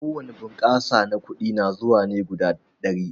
Ko wani bunƙasa na kuɗi na zuwa ne guda ɗari.